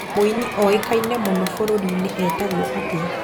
Mũini ũĩkane mũno bũrũrũrinĩ etagwo atia?